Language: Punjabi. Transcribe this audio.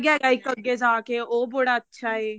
ਹੈਗਾ ਇੱਕ ਅੱਗੇ ਜਾ ਕੇ ਉਹ ਬੜਾ ਅੱਛਾ ਹੈਗਾ ਏ